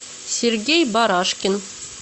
сергей барашкин